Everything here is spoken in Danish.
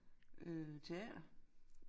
Øh teater